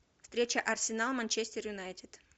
встреча арсенал манчестер юнайтед